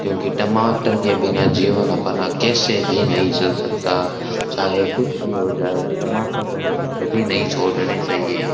क्योंकि टमाटर के बिना जीवन अपना कैसे भी नहीं चल सकता चाहे कुछ भी हो जाए टमाटर को हमे कभी नहीं छोड़ने चाहिए।